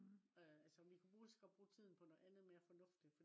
øh altså vi kunne ligesågodt bruge tiden på noget andet mere fornuftigt